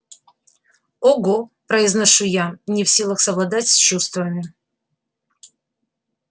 ого произношу я не в силах совладать с чувствами